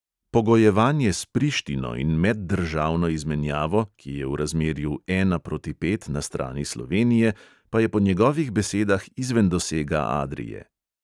Pogojevanje s prištino in meddržavno izmenjavo, ki je v razmerju ena proti pet na strani slovenije, pa je po njegovih besedah izven dosega adrie.